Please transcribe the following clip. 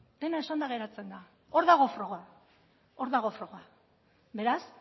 dena esanda geratzen da hor dago froga hor dago froga beraz